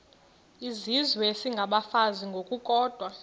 izizwe isengabafazi ngokukodwa